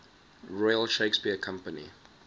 royal shakespeare company